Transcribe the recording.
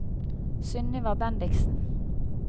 Sunniva Bendiksen